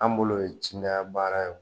An bolo ye cida baara ye